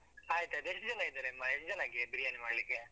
ಆಯ್ತಾಯ್ತು. ಎಷ್ಟ್ ಜನ ಇದಾರೆ ಅಮ್ಮ, ಎಷ್ಟ್ ಜನಕ್ಕೆ ಬಿರಿಯಾನಿ ಮಾಡ್ಲಿಕ್ಕೆ?